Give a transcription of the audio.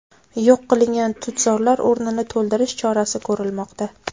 Yo‘q qilingan tutzorlar o‘rnini to‘ldirish chorasi ko‘rilmoqda.